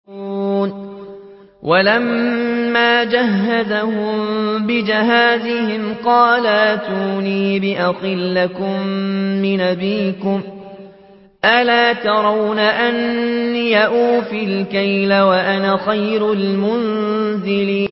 وَلَمَّا جَهَّزَهُم بِجَهَازِهِمْ قَالَ ائْتُونِي بِأَخٍ لَّكُم مِّنْ أَبِيكُمْ ۚ أَلَا تَرَوْنَ أَنِّي أُوفِي الْكَيْلَ وَأَنَا خَيْرُ الْمُنزِلِينَ